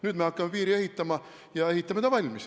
Nüüd me hakkame piiri ehitama ja me ehitame ta valmis.